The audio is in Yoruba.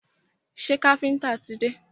Ṣé káfíńńtà ti dé?